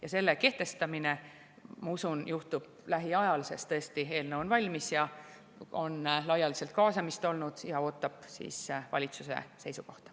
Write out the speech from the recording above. Ja selle kehtestamine, ma usun, juhtub lähiajal, sest tõesti eelnõu on valmis, on olnud laialdaselt kaasamist ja see ootab valitsuse seisukohta.